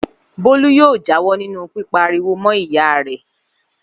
Bólú yóò jáwọ́ nínú pípa ariwo mọ́ ìyá rẹ̀!